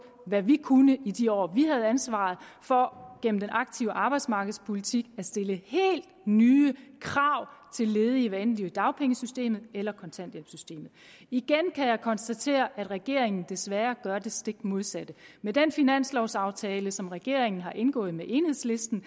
hvad vi kunne i de år vi havde ansvaret for gennem den aktive arbejdsmarkedspolitik at stille helt nye krav til ledige hvad enten de var i dagpengesystemet eller kontanthjælpssystemet igen kan jeg konstatere at regeringen desværre gør det stik modsatte med den finanslovaftale som regeringen har indgået med enhedslisten